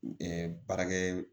baarakɛ